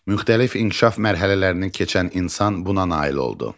Müxtəlif inkişaf mərhələlərini keçən insan buna nail oldu.